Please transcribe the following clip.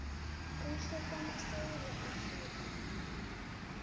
kuhle kwamasewula afrika